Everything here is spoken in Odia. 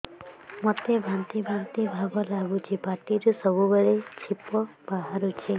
ମୋତେ ବାନ୍ତି ବାନ୍ତି ଭାବ ଲାଗୁଚି ପାଟିରୁ ସବୁ ବେଳେ ଛିପ ବାହାରୁଛି